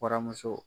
Waramuso